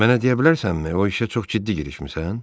Mənə deyə bilərsənmi, o işə çox ciddi girişmisən?